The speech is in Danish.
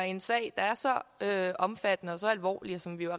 i en sag der er så omfattende og så alvorlig og som vi jo